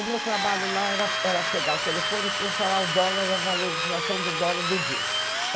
O meu trabalho lá era pegar o telefone para falar o dólar, a valorização do dólar do dia.